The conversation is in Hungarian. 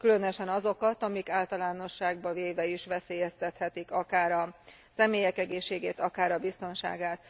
Különösen azokat, amik általánosságban véve is veszélyeztethetik akár a személyek egészségét, akár a biztonságát.